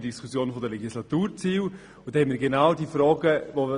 Bei den Legislaturzielen haben wir genau diese Fragen diskutiert.